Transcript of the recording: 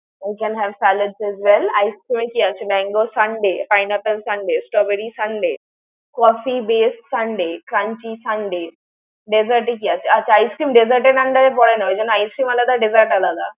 I can have salad as well ice twenty আছে, mango sundae, pinapple sundae, strawberry sundae, coffee best sundae, crunchy sundae dessert এ কী আছে? আচ্ছা ice cream dessert এর under এ পরে না। ওই জন্য ice cream আলাদা dessert আলাদা।